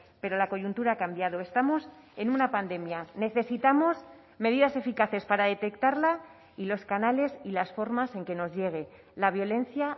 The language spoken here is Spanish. pero la coyuntura ha cambiado estamos en una pandemia necesitamos medidas eficaces para detectarla y los canales y las formas en que nos llegue la violencia